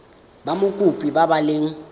ba mokopi ba ba leng